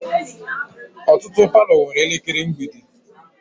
Ọtụtụ palọ nwere elekere mgbidi